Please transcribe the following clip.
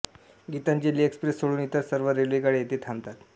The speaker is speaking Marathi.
गीतांजली एक्सप्रेस सोडून इतर सर्व रेल्वेगाड्या येथे थांबतात